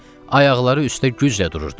Ayaqları üstə güclə dururdu.